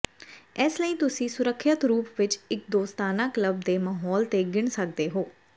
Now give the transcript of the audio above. ਇਸ ਲਈ ਤੁਸੀਂ ਸੁਰੱਖਿਅਤ ਰੂਪ ਵਿੱਚ ਇੱਕ ਦੋਸਤਾਨਾ ਕਲੱਬ ਦੇ ਮਾਹੌਲ ਤੇ ਗਿਣ ਸਕਦੇ ਹੋ